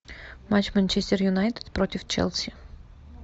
матч манчестер юнайтед против челси